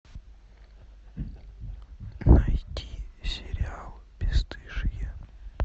найти сериал бесстыжие